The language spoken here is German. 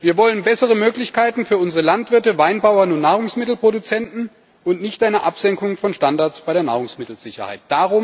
Wir wollen bessere Möglichkeiten für unsere Landwirte, Weinbauern und Nahrungsmittelproduzenten und nicht eine Absenkung von Standards bei der Nahrungsmittelsicherheit.